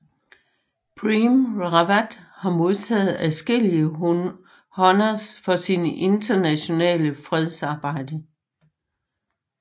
Prem Rawat har modtaget adskillige honors for sin internationale fredsarbejde